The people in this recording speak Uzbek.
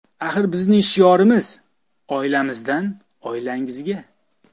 Axir bizning shiorimiz: oilamizdan oilangizga.